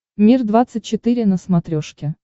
мир двадцать четыре на смотрешке